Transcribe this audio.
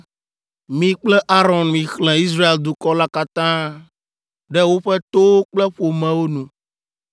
“Mi kple Aron mixlẽ Israel dukɔ la katã ɖe woƒe towo kple ƒomewo nu.